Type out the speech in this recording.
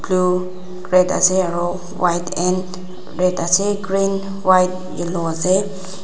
du red ase aro white end red ase green white yellow ase.